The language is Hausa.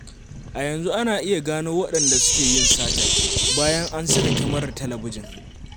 A yanzu ana iya gano waɗanda suke yin satar, bayan an saka kyamarar talabijin.